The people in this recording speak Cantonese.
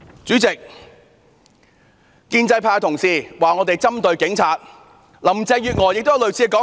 主席，建制派同事批評我們針對警察，而林鄭月娥亦有類似說法。